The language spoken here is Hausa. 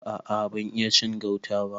A a ban iya cin gauta ba.